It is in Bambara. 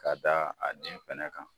Ka daa a den fɛnɛ kan.